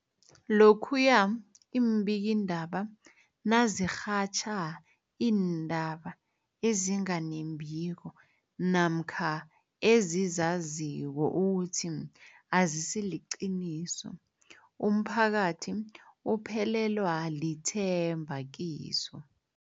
Lokhuya iimbikiindaba nazirhatjha iindaba ezinga nembiko namkha ezizaziko ukuthi azisiliqiniso, umphakathi uphelelwa lithemba kizo.